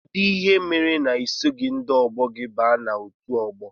Kedụ ihe mere na isoghi ndị ọgbọ gị wee baa n' ọtu ọgbọ?